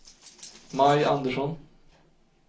Maj Andersson